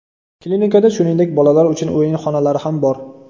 Klinikada, shuningdek, bolalar uchun o‘yin xonalari ham bor.